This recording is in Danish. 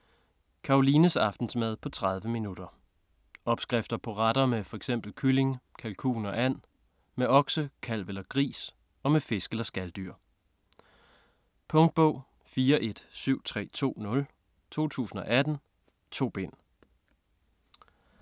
Karolines aftensmad på 30 min. Opskrifter på retter med fx kylling, kalkun og and, med okse, kalv eller gris og med fisk eller skaldyr. Punktbog 417320 2018. 2 bind.